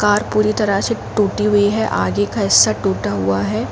Car पूरी तरह से टूटी हुई है। आगे का हिस्सा टूटा हुआ है।